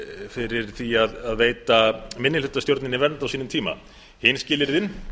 fyrir því að veita minnihlutastjórninni vernd á sínum tíma hin skilyrðin